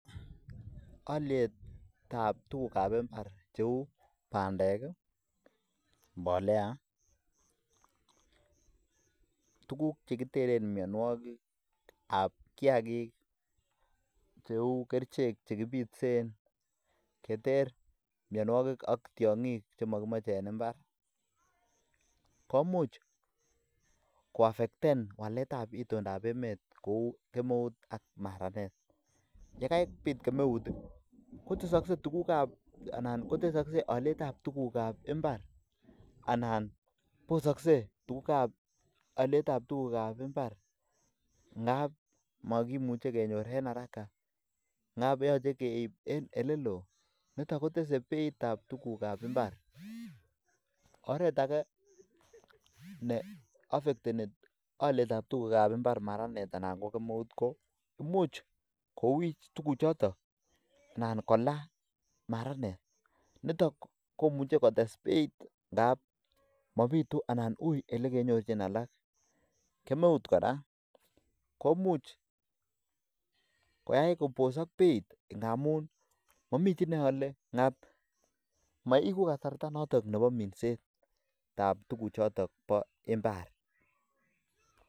ole taab took ab imbaar cheuu bandeek iih mbolea, tuguk chekiteren myonwogik ab kiagiik cheuu kerichek chekibiteen cheterr ak tyongiik chemokimoche en imbaar, komuuch kwafecten waleet ab itondo ab emeet kouu kemeuut ak maraneet, yekabiit kemeuut iih kotesokse olyeet ab tuguuk ab imbaar anan bosokse tuguuk ab olyeet ab tuguk ab imbaar ngaab mogimuche kenyoor en haraka, ngaab yoche keiib en eleloo niton kotese beit ab tuguuk ab imbaar, oreet age ne ofecteni tuguuk ab imbaar maraneet anan ko kemeuut ko imuch kowiich tuguuk choton anan kolaa maraneet niton komuche kotees beit ndaab mobitu anan uii elekenyorchin alaak, kemeuut koraa komuch koyaai kosok beeit ngamuun momiichi neole ngaab moibu kasarta noton nebo minseet ngaab tuguk choton bo imbaar.